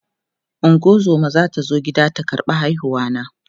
ungozuma zata zo gida ta ƙarɓa haihuwa na